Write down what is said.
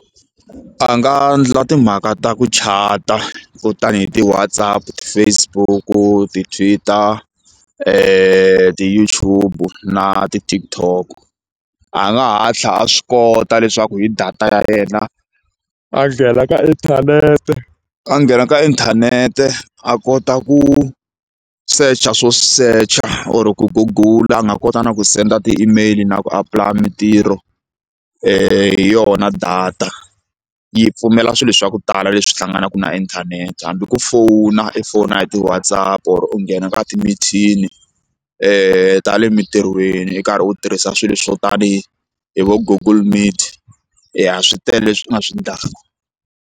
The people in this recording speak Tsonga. A nga endla timhaka ta ku chata hi ti-Whatsapp, ti-Facebook ti-Twitter ti-YouTube na ti-Tktok a nga hatla a swi kota leswaku hi data ya yena a nghena ka inthanete a nghena ka inthanete a kota ku secha swo secha or ku gugula a nga kota na ku senda ti-email na ku apply mitirho hi yona data yi pfumela swilo swa ku tala leswi hlanganaka na inthanete hambi ku fona u foyina hi ti-Whatspp or u nghena ka timithini e ta le emitirhweni u karhi u tirhisa swilo swo tanihi hi vo google meet swi tele leswi u nga swi ndlaku.